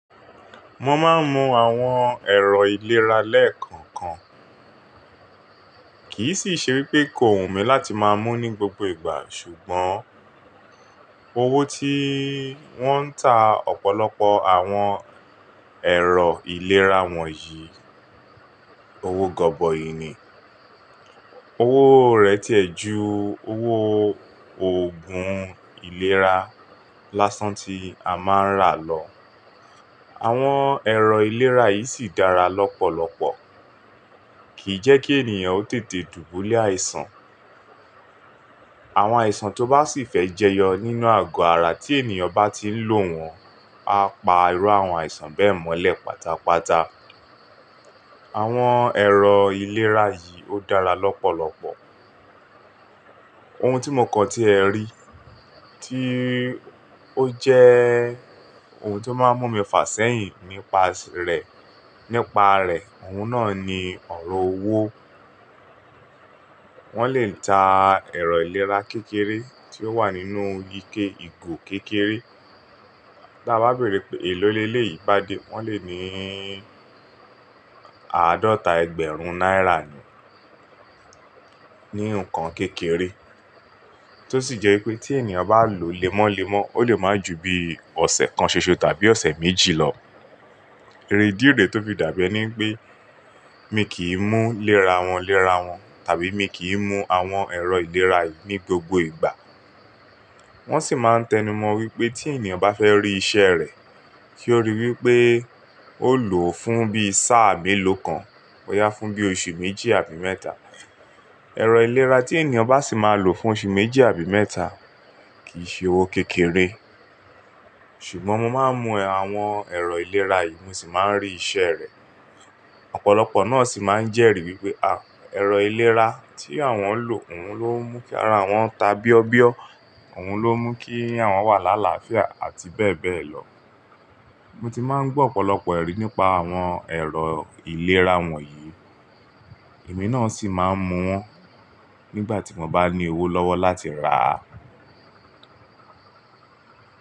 Mo máa ń mu àwọn ẹ̀rọ ìlera lẹ́ẹ̀kọ̀kan, kìí sì ṣe wípé kò hùn mí látí máa mú ní gbogbo ìgbà. Ṣùgbọ́n owó tí wón ń tà ọ̀pọ̀lọpọ̀ àwọn ẹ̀rọ ìlera wọ̀nyí, owó gọbọi ni. Owó rẹ̀ ti ẹ̀ ju owó òògùn ìlera lásán tí a máa ń rà lọ. Àwọn ẹ̀rọ ìlera yìí sì dára lọ́pọ̀lọpọ̀, kì í jẹ́ kí ènìyàn ó tètè dùbúlẹ̀ àìsàn. Àwọn àìsàn tó bá sì fẹ́ jẹyọ nínú àgọ ara tí ènìyàn bá ti ń lò wọ́n á pa irú àwọn àìsàn bẹ́ẹ̀ mọ́lẹ̀ pátápátá. Àwọn ẹ̀rọ ìlera yìí ó dára lọ́pọ̀lọpọ̀. Ohun tí mo kàn tí ẹ rí tíí ó jẹ́ ohun tó máa ń mú mi fàsẹ́yìn nípa rẹ̀, nípa rẹ̀, òun náà nì ọ̀rọ̀ owó. Wọ́n lè ta ẹ̀rọ ìlera kékeré tí ó wà nínú ike ìgò kékeré. Tí a bá bèèrè pé èlò leleyi yìí bá dé, wọ́n lè níí àádọ́ta ẹgbẹ̀rún náírà ni, nínú n ǹkan kékeré. Tó sì jẹ́ wípé tí ènìyàn bá lòó lemọ́lemọ́ ó lè máa ju bíi ọ̀sẹ̀ kán ṣoṣo tàbí ọ̀sẹ̀ méjì lọ. Eré ìdí eré tó fi dàbí ẹni pé mi kì í mú léra wọn, léra wọn tàbí mi kì í mú àwọn ẹ̀rọ ìlera yìí ní gbogbo ìgbà. Wọ́n sì máa ń tẹnumọ wípé tí ènìyàn bá fẹ́ rí iṣẹ́ rẹ̀, kí ó ríi wípé ó lò ó fún bí sáà mélòó kan, bọ́ yá fún bí oṣù méjì àbí mẹ́ta. Ẹ̀rọ ìlera tí ènìyàn bá sì máa lò fún oṣù méjì àbí mẹ́ta, kì í ṣe owó kékeré. Ṣùgbọ́n mo máa ń mu àwọn ẹ̀rọ ìlera yìí mo sì máa ń rí iṣẹ́ rẹ̀. Ọ̀pọ̀lọpọ̀ náà sì máa ń jẹ́rìí wípé à, ẹ̀rọ ìlera tí àwọn ń lò òun ló ń mú kí ara wọn ta bíọ́bíọ́, òun ló ń mú kí àwọn wà lálaàfíà abbl. Mo ti máa ń gbọ́ ọ̀pọ̀lọpọ̀ ẹ̀rí nípa àwọn ẹ̀rọ ìlera wọ̀nyí, èmi náà sì máa ń mú wọn nígbà tí mo bá ní owó lọ́wọ́ láti rà á.